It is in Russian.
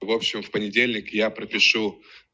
в общем в понедельник я пропишу